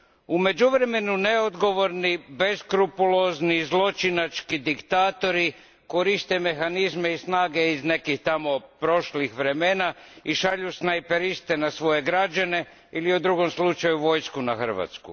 U međuvremenu neodgovorni, beskrupulozni i zločinački diktatori koriste mehanizme i snage iz nekih tamo prošlih vremena i šalju snajperiste na svoje građane ili u drugom slučaju vojsku na Hrvatsku.